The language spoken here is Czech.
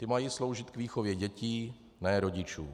Ty mají sloužit k výchově dětí, ne rodičů.